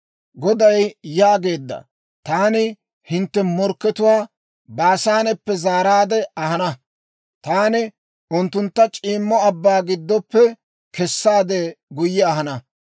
Goday yaageedda; «Taani hintte morkkatuwaa, Baasaaneppe zaaraadde ahana; taani unttuntta c'iimmo abbaa giddoppe kessaade guyye ahana.